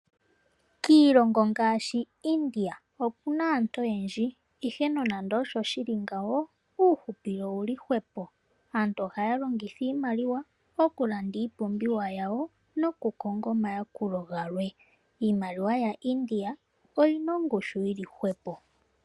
Kiilongo ngaashi India okuna aantu oyendji, ihe nonando osho shili ngawo uuhupilo owuli hwepo, aantu ohayalongitha iimaliwa okulanda iipumbiwa yawo nokukonga omayakulo galwe. Iimaliwa ya India oyina ongushu yili hwepo.